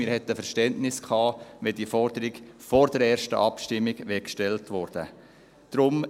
Wir hätten Verständnis gehabt, wenn diese Forderung vor der ersten Abstimmung gestellt worden wäre.